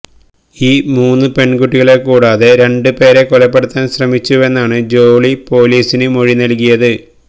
ഈ മൂന്ന് പെണ്കുട്ടികളെ കൂടാതെ രണ്ട് പേരെ കൊലപ്പെടുത്താന് ശ്രമിച്ചുവെന്നാണ് ജോളി പോലീസിന് മൊഴി നല്കിയത്